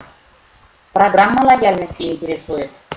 программа лояльности интересует